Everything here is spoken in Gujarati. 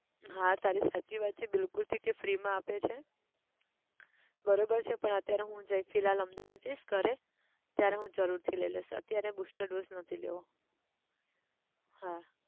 હા તારી સાચી વાત છે બિલકુલ છે કે free માં આપે છે, બરોબર છે પણ અત્યારે હું જય ફિલહાલ અમદાવાદ જઈશ ઘરે ત્યારે હું જરૂર થી લઇ લઈશ અત્યારે booster dose નથી લેવો, હા